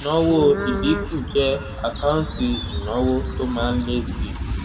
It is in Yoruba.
ìnáwó ìdínkù jẹ́ àkáǹtì ìnáwó tó má ń lé síi.